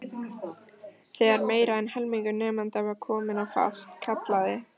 Þegar meira en helmingur nemenda var kominn á fast, kallaði